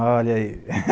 olha aí